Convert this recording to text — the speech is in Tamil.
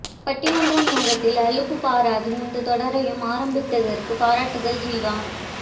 பட்டிமன்ற நேரத்தில் அலுப்புப் பாராது இந்தத் தொடரையும் ஆரம்பித்ததிற்குப் பாராட்டுக்கள் ஜீவா